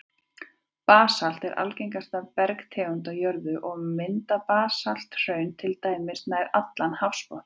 Basalt er algengasta bergtegund á jörðu, og mynda basalthraun til dæmis nær allan hafsbotninn.